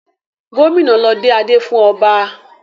Gómìnà ló dé adé fún ọba.